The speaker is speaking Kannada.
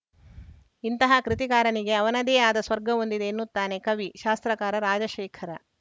ಇಂತಹ ಕೃತಿಕಾರನಿಗೆ ಅವನದೇ ಆದ ಸ್ವರ್ಗವೊಂದಿದೆ ಎನ್ನುತ್ತಾನೆ ಕವಿಶಾಸ್ತ್ರಕಾರ ರಾಜಶೇಖರ